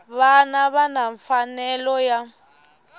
vona va na mfanelo ya